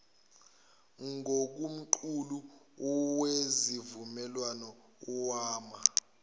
ngokomqulu wesivumelwano wama